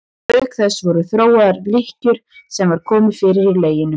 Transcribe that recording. Auk þess voru þróaðar lykkjur sem var komið fyrir í leginu.